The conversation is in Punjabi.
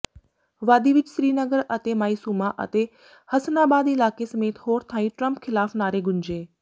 ਵਾਦੀ ਵਿੱਚ ਸ੍ਰੀਨਗਰ ਦੇ ਮਾਇਸੂਮਾ ਅਤੇ ਹਸਨਾਬਾਦ ਇਲਾਕੇ ਸਮੇਤ ਹੋਰ ਥਾਈਂ ਟਰੰਪ ਖ਼ਿਲਾਫ਼ ਨਾਅਰੇ ਗੂੰਜੇ